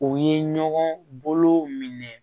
O ye ɲɔgɔn bolo minɛ